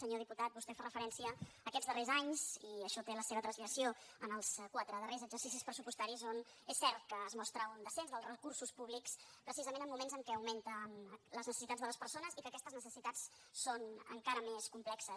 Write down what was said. senyor diputat vostè fa referència a aquests darrers anys i això té la seva translació en els quatre darrers exercicis pressupostaris on és cert que es mostra un descens dels recursos públics precisament en moments en què augmenten les necessitats de les persones i en què aquestes necessitats són encara més complexes